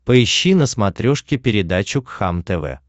поищи на смотрешке передачу кхлм тв